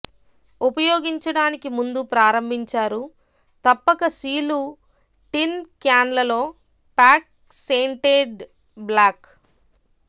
ఉపయోగించడానికి ముందు ప్రారంభించారు తప్పక సీలు టిన్ క్యాన్లలో ప్యాక్ సేన్టేడ్ బ్లాక్